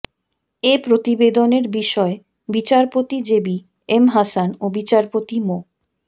এ প্রতিবেদনের বিষয়ে বিচারপতি জেবি এম হাসান ও বিচারপতি মো